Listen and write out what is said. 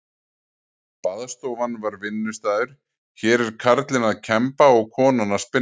Baðstofan var vinnustaður, hér er karlinn að kemba og konan að spinna.